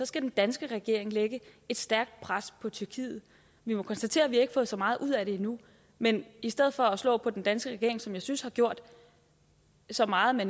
skal den danske regering lægge et stærkt pres på tyrkiet vi må konstatere at vi ikke har fået så meget ud af det endnu men i stedet for at slå på den danske regering som jeg synes har gjort så meget